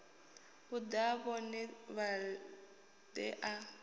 u ḽa vhone vhaṋe a